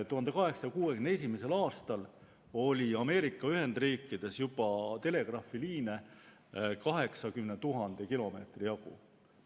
1861. aastal oli Ameerika Ühendriikides telegraafiliine juba 80 000 kilomeetri jagu.